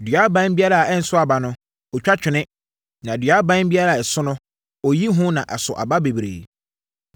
Dua aban biara a ɛnso aba no, ɔtwa twene, na dua aban biara a ɛso no, ɔyiyi ho na aso aba bebree.